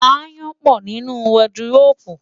Aáyán pọ̀ nínú wọdıróòbù.